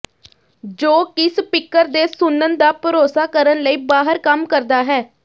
ਜੋ ਕਿ ਸਪੀਕਰ ਦੇ ਸੁਣਨ ਦਾ ਭਰੋਸਾ ਕਰਨ ਲਈ ਬਾਹਰ ਕੰਮ ਕਰਦਾ ਹੈ